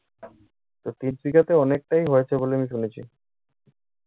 তো তিনশিকাতে অনেকটাই হয়েছে বলে আমি শুনেছি।